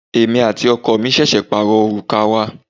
Èmi àti ọkọ mi ṣẹ̀ṣẹ̀ pàrọ òrùka wa.